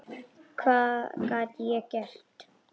Hvað gat ég gert?